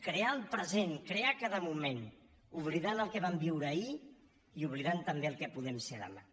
crear el present crear cada moment oblidant el que vam viure ahir i oblidant també el que podem ser demà